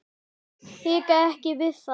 Hika ekki við það.